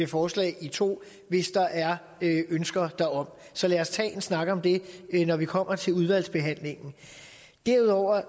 forslag i to hvis der er ønsker derom så lad os tage en snak om det når vi kommer til udvalgsbehandlingen derudover